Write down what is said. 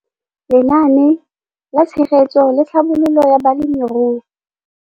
Lenaane la Tshegetso le Tlhabololo ya Balemirui.